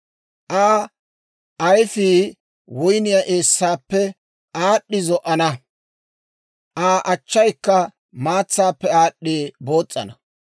Aa ayfii woyniyaa eessaappe aad'd'i zo"ana; Aa achchaykka maatsaappe aad'd'i boos's'ana.